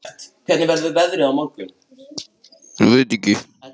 Jafnvel stofna lífi sínu í hættu.